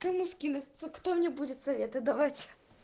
кроме скидок кто мне будет советы давать